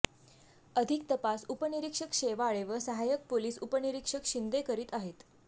अधिक तपास उपनिरीक्षक शेवाळे व सहायक पोलिस उपनिरीक्षक शिंदे करीत आहेत